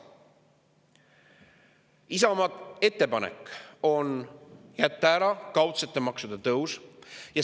Isamaa ettepanek on jätta ära kaudsete maksude tõus.